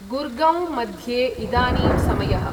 गुर्गौं मध्ये इदानीं समयः